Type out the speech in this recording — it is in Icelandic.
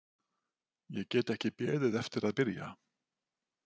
Ég get ekki beðið eftir að byrja.